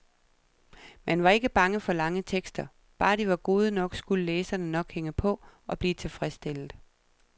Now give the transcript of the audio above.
Man var ikke bange for lange tekster, bare de var gode nok, skulle læserne nok hænge på og blive tilfredsstillet.